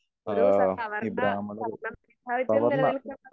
ഒരു സ്വവർണ നില നിൽക്കുന്ന